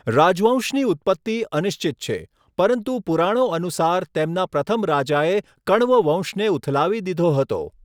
રાજવંશની ઉત્પત્તિ અનિશ્ચિત છે, પરંતુ પુરાણો અનુસાર, તેમના પ્રથમ રાજાએ કણ્વ વંશને ઉથલાવી દીધો હતો.